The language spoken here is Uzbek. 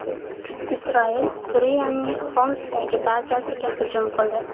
Isroil Suriyaning Xomsdagi bazasiga hujum qildi.